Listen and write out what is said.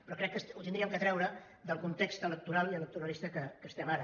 però crec que ho hauríem de treure del context electoral i electoralista en què estem ara